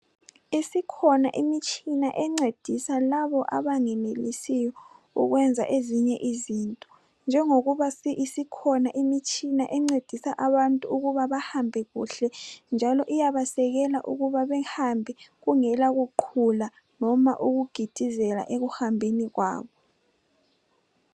Isikhona imitshina encedisa labo abangenelisiyo ukwenza ezinye izinto njengoba isikhona imitshina encedisa abantu ukuba bahambe kuhle njalo iyabasekela ukuba behambe kungela kuqhula loba ukugidizela ekuhambeni kwabo.